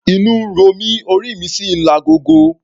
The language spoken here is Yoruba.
Inú ń ro mí, orí mi sì ń lagogo.